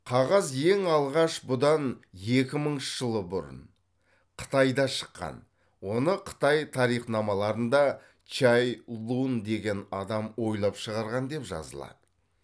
қағаз ең алғаш бұдан екі мыңыншы жыл бұрын қытайда шыққан оны қытай тарихнамаларында чай лунь деген адам ойлап шығарған деп жазылады